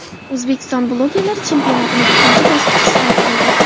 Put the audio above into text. O‘zbek bloggerlari chempionatining ikkinchi bosqichi start oldi.